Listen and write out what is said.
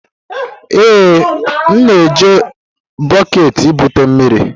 Ee, m na-eji bọket ebute mmiri.